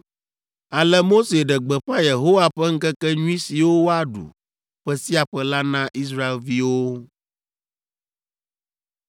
Ale Mose ɖe gbeƒã Yehowa ƒe ŋkekenyui siwo woaɖu ƒe sia ƒe la na Israelviwo.